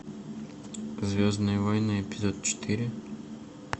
звездные войны эпизод четыре